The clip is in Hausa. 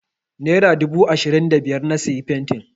Nera dubu ashirin da biyar na sayi fenti.